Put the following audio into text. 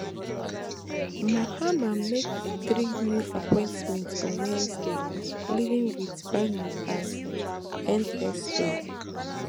mahama make three new appointments on wednesday leading wit bani as nsa